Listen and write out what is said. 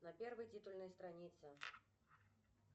на первой титульной странице